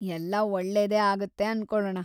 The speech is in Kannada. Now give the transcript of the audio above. ಎಲ್ಲ ಒಳ್ಳೇದೇ ಆಗುತ್ತೆ ಅನ್ಕೊಳಣ.